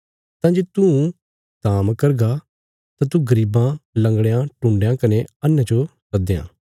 तां जे तूं धाम करगा तां तू गरीबां लंगड़यां टुण्डयां कने अन्हेयां जो सदयां